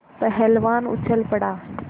पहलवान उछल पड़ा